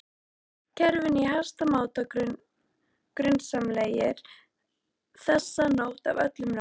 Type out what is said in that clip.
kerfinu í hæsta máta grunsamlegir, þessa nótt af öllum nótt